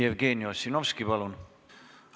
Jevgeni Ossinovski, palun!